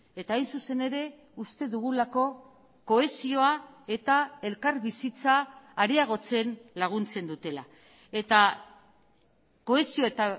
eta hain zuzen ere uste dugulako kohesioa eta elkarbizitza areagotzen laguntzen dutela eta kohesio eta